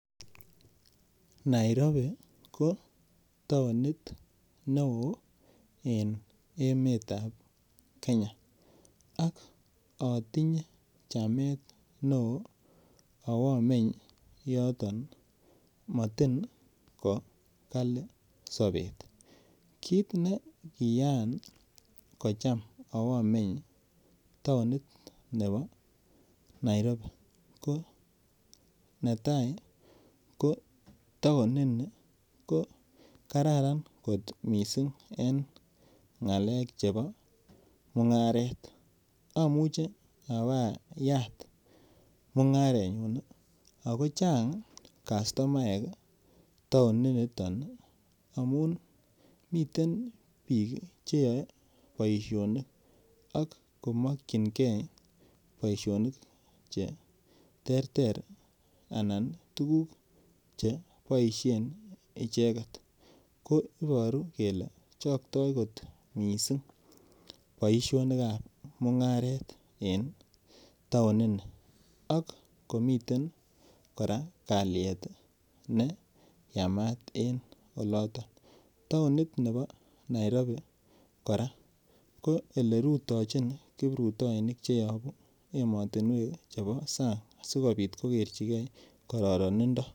Nairobi ko taonit neo en emet ab Kenya ak atinye chamet neo abo meny yoton motin ko kali sobet kit nekiyan acham awo meny taonit nebo Nairobi ko netai ko taonini ko Kararan kot mising en ngalek chebo mungaret amuche abayat mungarenyu ago Chang kastomaek amun miten bik Che yoe boisionik ak ko mokyingei boisionik kou tuguk Che boisien icheget ko Iboru kele chokto kot mising boisionik ab mungaret en taonini amun miten kora kalyet ne Yamat en oloto taonit nebo Nairobi kora ko olerutojin kiprutoinik Che yobu emotinwek chebo sang asikobit koker chigei kororonindo